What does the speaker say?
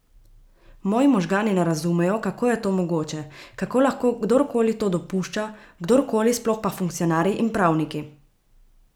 Moji možgani ne razumejo, kako je to mogoče, kako lahko kdor koli to dopušča, kdor koli, sploh pa funkcionarji in pravniki!